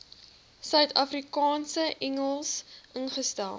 suidafrikaanse engels ingestel